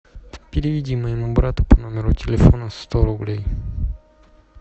переведи моему брату по номеру телефона сто рублей